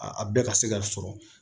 A bɛɛ ka se ka sɔrɔ